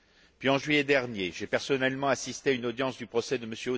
Puis, en juillet dernier, j'ai personnellement assisté à une audience du procès de M.